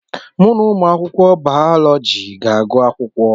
Mụ na ụmụ akwụkwọ bayọlọji ga-agụ akwụkwọ.